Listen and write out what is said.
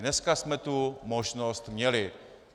Dneska jsme tu možnost měli.